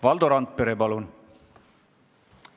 Valdo Randpere, palun!